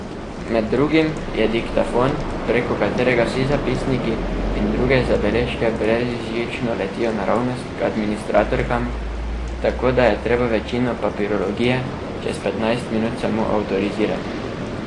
Med drugim je diktafon, preko katerega vsi zapisniki in druge zabeležke brezžično letijo naravnost k administratorkam, tako da je treba večino papirologije čez petnajst minut samo avtorizirati.